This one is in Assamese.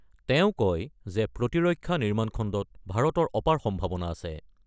তেওঁ কয় যে প্ৰতিৰক্ষা নিৰ্মাণ খণ্ডত ভাৰতৰ অপাৰ সম্ভাৱনা আছে।